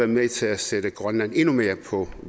med til at sætte grønland endnu mere på